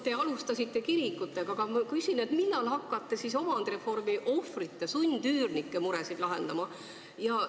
Te alustasite kirikutega, aga ma küsin: millal te siis hakkate omandireformi ohvrite, sundüürnike muresid lahendama?